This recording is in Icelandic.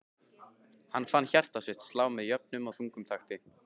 Hann fann hjarta sitt slá með jöfnum og þungum takti.